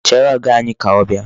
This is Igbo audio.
Chere Ọga anyị ka ọ bịa.